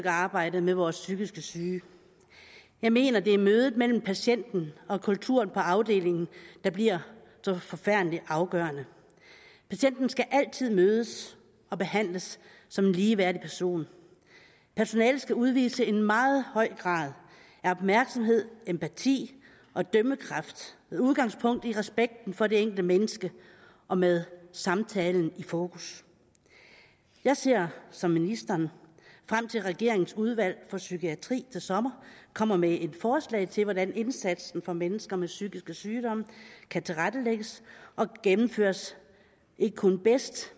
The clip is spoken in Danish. arbejde med vores psykisk syge jeg mener at det er mødet mellem patienten og kulturen på afdelingen der bliver så forfærdelig afgørende patienten skal altid mødes og behandles som en ligeværdig person personalet skal udvise en meget høj grad af opmærksomhed empati og dømmekraft med udgangspunkt i respekten for det enkelte menneske og med samtalen i fokus jeg ser som ministeren frem til at regeringens udvalg for psykiatri til sommer kommer med et forslag til hvordan indsatsen for mennesker med psykiske sygdomme kan tilrettelægges og gennemføres ikke kun bedst